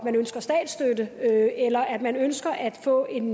at eller at man ønsker at få en